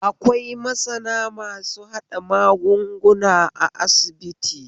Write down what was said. Akwai masana masu haɗa magunguna a asibiti